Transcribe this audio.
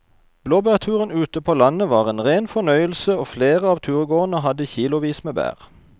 Blåbærturen ute på landet var en rein fornøyelse og flere av turgåerene hadde kilosvis med bær.